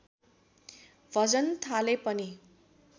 भजन थाले पनि